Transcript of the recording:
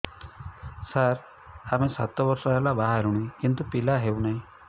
ସାର ଆମେ ସାତ ବର୍ଷ ହେଲା ବାହା ହେଲୁଣି କିନ୍ତୁ ପିଲା ହେଉନାହିଁ